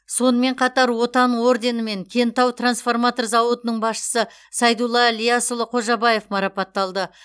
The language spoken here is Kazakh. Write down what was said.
сонымен қатар отан орденімен кентау трансформатор зауытының басшысы сайдулла ілиясұлы қожабаев марапатталды